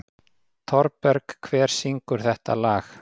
Thorberg, hver syngur þetta lag?